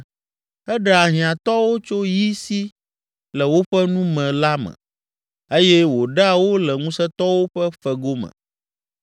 Eɖea hiãtɔwo tso yi si le woƒe nu me la me eye wòɖea wo le ŋusẽtɔwo ƒe fego me.